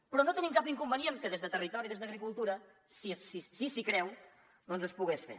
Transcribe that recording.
però no tenim cap inconvenient que des de territori i des d’agricultura si s’hi creu doncs es pogués fer